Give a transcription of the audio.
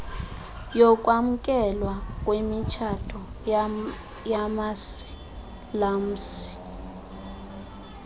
wokwamkelwa kwemitshato yamasilamsi